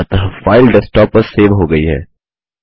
अतः file desktop पर save हो गई है